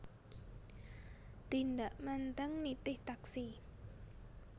Tindak Menteng nitih taksi